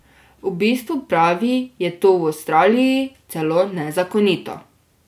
V bistvu, pravi, je to v Avstraliji celo nezakonito.